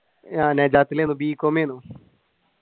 b com ചെയ്തു